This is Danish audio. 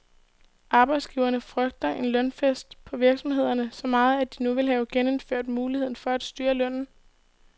Arbejdsgiverne frygter en lønfest på virksomhederne så meget, at de nu vil have genindført muligheden for at styre lønnen.